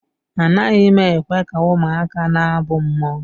Anaghị m ekwe ka ụmụaka na-abụ mmụọ